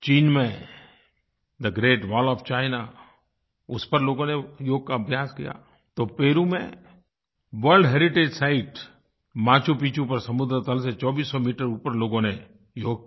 चीन में थे ग्रेट वॉल ओएफ चीना उस पर लोगों ने योग का अभ्यास किया तो पेरू में world heritage site Machu Picchu पर समुद्र तल से 2400 मीटर ऊपर लोगों ने योग किया